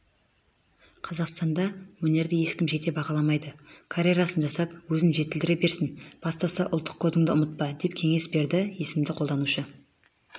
қазақстанда өнерді ешкім жете бағаламайды карьерасын жасап өзін жетілдіре берсін бастысы ұлттық кодыңды ұмытпа деп кеңес берді есімді қолданушы